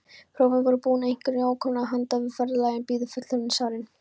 Prófin voru búin, einkunnir ókomnar, handan við ferðalagið biðu fullorðinsárin.